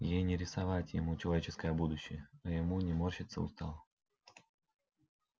ей не рисовать ему человеческое будущее а ему не морщиться устало